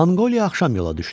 Monqoliya axşam yola düşdü.